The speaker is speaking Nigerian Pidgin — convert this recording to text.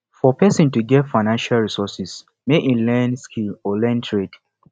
for persin to get financial resources make im learn skill or learn trade